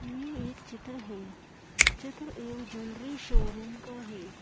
ये एक चित्र है चित्र एल ज्वेलरी शोरूम का है।